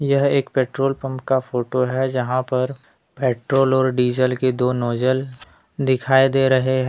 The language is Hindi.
यह एक पेट्रोल पंप का फोटो है जहां पर पेट्रोल और डीजल के दो नोजल दिखाई दे रहे हैं।